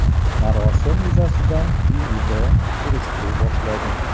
Marosim yuzasidan IIB surishtiruv boshladi .